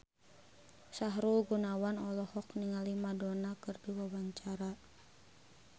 Sahrul Gunawan olohok ningali Madonna keur diwawancara